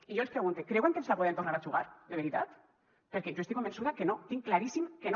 i jo els pregunte creuen que ens la podem tornar a jugar de veritat perquè jo estic convençuda que no tinc claríssim que no